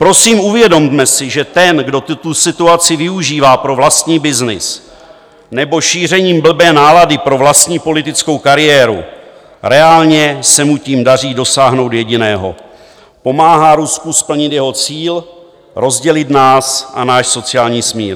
Prosím, uvědomme si, že ten, kdo tuto situaci využívá pro vlastní byznys nebo šíření blbé nálady pro vlastní politickou kariéru, reálně se mu tím daří dosáhnout jediného: pomáhá Rusku splnit jeho cíl rozdělit nás a náš sociální smír.